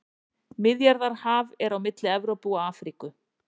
Miðjarðarhaf er á milli Evrópu og Afríku.